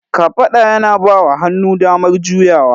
Kafada yana bawa hannu damar juyawa.